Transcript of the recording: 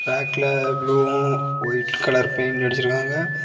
பேக்ல ப்ளூவும் white colour paint அடிச்சிருக்காங்க.